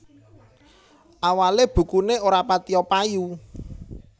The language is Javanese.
Awalé bukuné ora patiyo payu